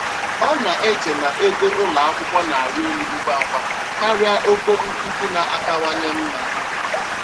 Ọ na-eche na ego ụlọ akwụkwọ na-arị elu ngwa ngwa karịa ogo nkuzi na-akawanye mma.